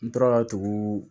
N tora ka tugu